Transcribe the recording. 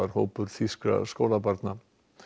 hópur þýskra skólabarna